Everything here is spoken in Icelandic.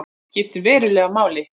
Skiptir verulegu máli